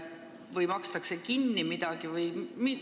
Kas makstakse midagi kinni?